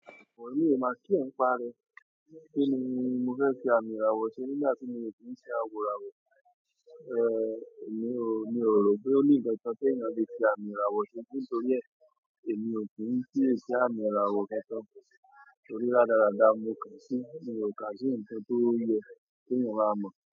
Emi ò ma care ń pa re. Kí ni mo fẹ́ fi àmì ìràwọ̀ ṣe nígbà tí mi o ki ń ṣe àwòràwọ̀? Emi ò, mi ò rò pé ó ní ǹkan kan teeyan le fi àmì ìràwọ̀ ṣe nítorí e, èmi ò kí ń kiye si àmì ìràwọ̀ kankan. Torí radarada n mo kaà sí, mi o kaà sí ǹnkan tó yẹ keeyan máa mọ̀